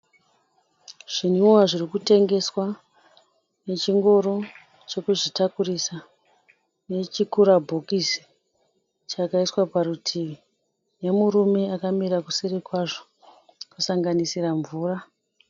Zvimwiwa zviri kutengeswa nechingoro chekuzvitakurisa, nechi kura bhokisi chakaiswa parutivi, nemurume akamira kuseri kwazvo kusanganisira mvura.